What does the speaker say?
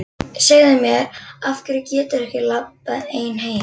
Segðu mér. af hverju geturðu ekki labbað ein heim?